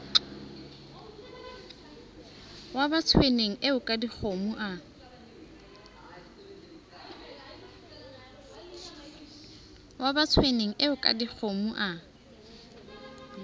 wa batsoeneng eo kadikgomo a